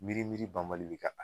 Miiri miiri banbali be ka taa